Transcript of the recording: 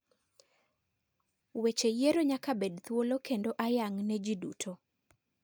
Weche yiero nyaka bed dhuolo kendo ayang ne ji duto.